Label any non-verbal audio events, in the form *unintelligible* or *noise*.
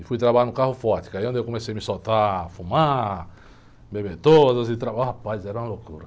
E fui trabalhar no carro forte, que aí é onde eu comecei a me soltar, fumar, beber todas... E, *unintelligible* rapaz, era uma loucura.